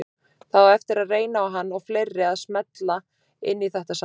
Það á eftir að reyna á hann og fleiri að smella inn í þetta saman.